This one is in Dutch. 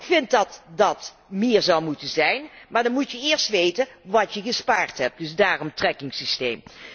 Ik vind dat dat meer zou moeten zijn, maar dan moet je eerst weten wat je gespaard hebt, dus daarom trackingsysteem.